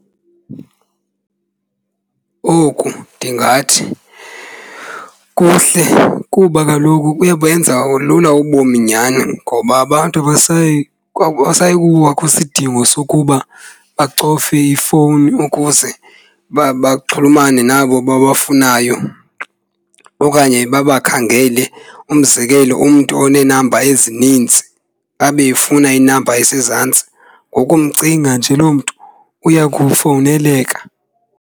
Oku ndingathi kuhle kuba kaloku buyabenza lula ubomi nyhani ngoba abantu abasayi akusayi kubakho sidingo sokuba bacofe ifowuni ukuze baxhulumane nabo babafunayo okanye babakhangele. Umzekelo umntu onenamba ezininzi abe efuna inamba esezantsi, ngokumcinga nje loo mntu uya kufowuneleka.